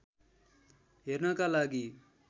हेर्नका लागि